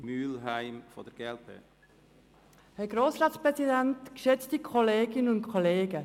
Als erste Einzelsprecherin hat Grossrätin Mühlheim das Wort.